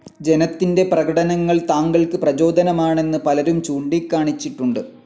ജനത്തിൻ്റെ പ്രകടനങ്ങൾ താങ്കൾക്ക് പ്രചോദനമാണെന്ന് പലരും ചൂണ്ടിക്കാണിച്ചിട്ടുണ്ട്.